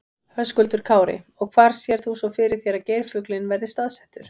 Höskuldur Kári: Og hvar sérð þú svo fyrir þér að geirfuglinn verði staðsettur?